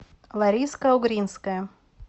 лариска угринская